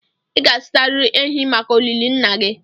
ị ga-azụtarịrị ehi maka olili nna gị